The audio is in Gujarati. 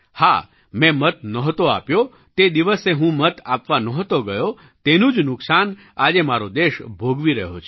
હા મેં મત નહોતો આપ્યો તે દિવસે હું મત આપવા નહોતો ગયો તેનું જ નુકસાન આજે મારો દેશ ભોગવી રહ્યો છે